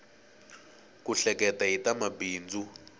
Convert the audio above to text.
ku hleketa hi ta mabindzu